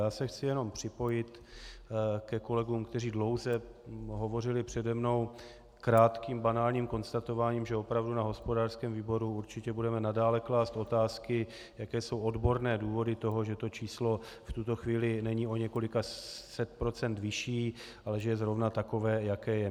Já se chci jen připojit ke kolegům, kteří dlouze hovořili přede mnou, krátkým banálním konstatováním, že opravdu na hospodářském výboru určitě budeme nadále klást otázky, jaké jsou odborné důvody toho, že to číslo v tuto chvíli není o několika set procent vyšší, ale že je zrovna takové, jaké je.